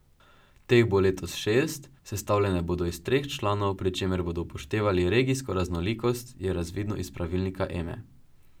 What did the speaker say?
Teh bo letos šest, sestavljene bodo iz treh članov, pri čemer bodo upoštevali regijsko raznolikost, je razvidno iz pravilnika Eme.